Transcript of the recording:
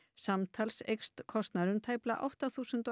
samtals eykst kostnaðurinn um tæplega átta þúsund